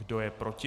Kdo je proti?